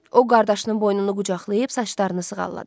O qardaşının boynunu qucaqlayıb saçlarını sığalladı.